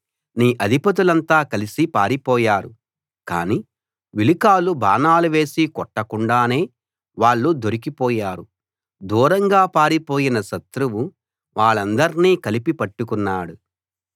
నీ అధిపతులంతా కలసి పారిపోయారు కానీ విలుకాళ్ళు బాణాలు వేసి కొట్టకుండానే వాళ్ళు దొరికి పోయారు దూరంగా పారిపోయినా శత్రువు వాళ్ళందర్నీ కలిపి పట్టుకున్నాడు